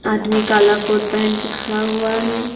आदमी काला कोट पहन के खड़ा हुआ है।